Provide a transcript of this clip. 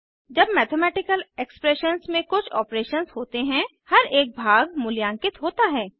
जब mathematical expressions में कुछ ऑपरेशंस होते हैं हर एक भाग मूल्यांकित होता है